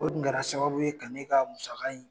O dun kɛra sababu ye ka ne ka musaka in